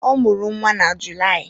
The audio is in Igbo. ọ mụrụ nwa na Julaị